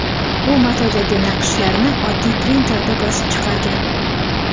U matodagi naqshlarni oddiy printerda bosib chiqargan.